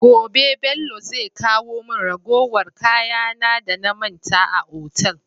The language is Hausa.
Gobe Bello zai kawo mun ragowar kaya na da na manta a otal